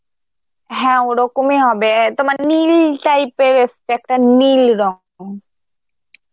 হ্যাঁ ওরকমই হবে অ্যাঁ তোমার নীল type এর এসছে, একটা নীল রং.